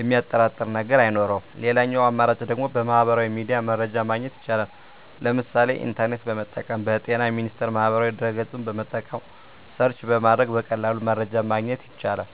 የሚያጠራጥር ነገር አይኖረውም ሌላኛው አማራጭ ደግሞ በሚህበራዊ ሚዲያ መረጃ ማግኘት ይቻላል ለምሳሌ ኢንተርኔትን በመጠቀም በጤና ሚኒስቴር ማህበራዊ ድህረ ገፅን በመጠቀም ሰርች በማድረግ በቀላሉ መረጃን ማግኘት ይቻላል።